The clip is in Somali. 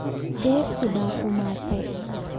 Beertii baa xumaatay